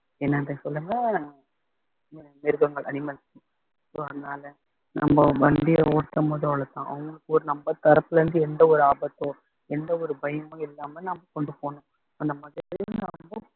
என்னன்றதை சொல்லுங்க மிருகங்கள் animals so அதனால நம்ப வண்டிய ஓட்டும்போது அவங்களுக்கு ஒரு நம்ம தரப்புல இருந்து எந்த ஒரு ஆபத்தோ எந்த ஒரு பயமும் இல்லாம நாம கொண்டு போகணும் அந்த மாதிரி நாம